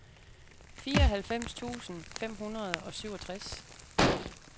fireoghalvfems tusind fem hundrede og syvogtres